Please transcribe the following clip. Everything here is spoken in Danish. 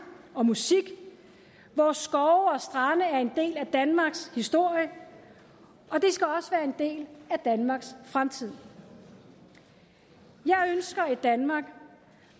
og musik vores skove og strande er en del af danmarks historie og en del af danmarks fremtid jeg ønsker et danmark